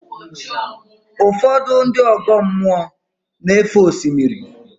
Ụfọdụ ndị ọgọ mmụọ na-éfé osimiri.